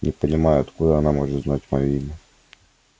не понимаю откуда она может знать моё имя